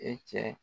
E cɛ